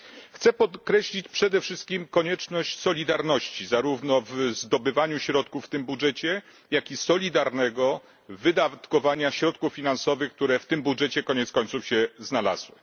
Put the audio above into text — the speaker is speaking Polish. Chciałbym podkreślić przede wszystkim konieczność solidarności zarówno w zdobywaniu środków w tym budżecie, jak i solidarnego wydatkowania środków finansowych, które w tym budżecie koniec końców się znalazły.